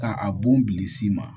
Ka a bon bili s'i ma